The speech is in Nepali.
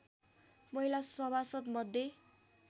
महिला सभासद्‍मध्ये